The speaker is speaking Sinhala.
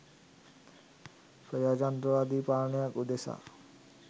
ප්‍රජාතන්ත්‍රවාදී පාලනයක් උදෙසා